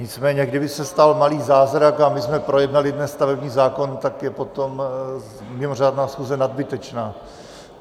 Nicméně kdyby se stal malý zázrak a my jsme projednali dnes stavební zákon, tak je potom mimořádná schůze nadbytečná.